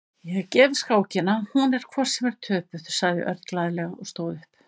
Ég gef skákina, hún er hvort sem er töpuð, sagði Örn glaðlega og stóð upp.